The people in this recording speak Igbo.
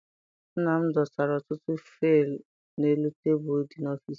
Nna m dosara ọtụtụ faịlu n'elu tebulu dị n'ọfịịsi ya.